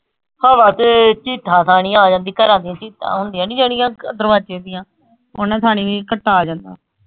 ਹਵਾ ਚ ਚਿੱਥਾਂ ਥਾਣੀ ਆ ਜਾਂਦੀ ਘਰਾਂ ਦੀ ਚਿੱਥਾਂ ਹੁੰਦੀਆਂ ਨੀ ਜਿਹੜੀਆਂ ਦਰਵਾਜੇ ਦੀਆਂ ਓਹਨਾ ਥਾਣੀ ਵੀ ਘੱਟਾ ਆ ਜਾਂਦਾ।